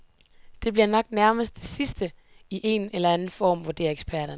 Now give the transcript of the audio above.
Det bliver nok nærmest det sidste i en eller anden form, vurderer eksperterne.